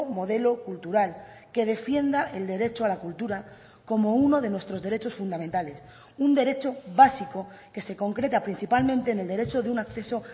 modelo cultural que defienda el derecho a la cultura como uno de nuestros derechos fundamentales un derecho básico que se concreta principalmente en el derecho de un acceso